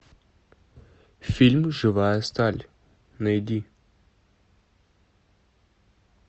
фильм живая сталь найди